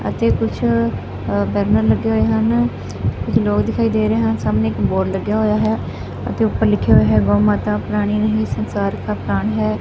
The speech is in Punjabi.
ਅਤੇ ਕੁਛ ਬੈਨਰ ਲੱਗੇ ਹੋਏ ਹਨ ਕੁਛ ਲੋਗ ਦਿਖਾਈ ਦੇ ਰਹੇ ਹਨ ਸਾਹਮਣੇ ਇੱਕ ਬੋਰਡ ਲੱਗਿਆ ਹੋਇਆ ਹੈ ਅਤੇ ਊਪਰ ਲਿਖ਼ਿਆ ਹੋਇਆ ਹੈ ਗਊ ਮਾਤਾ ਪ੍ਰਾਣੀ ਨਹੀਂ ਸੰਸਾਰ ਕਾ ਪ੍ਰਾਣ ਹੈ।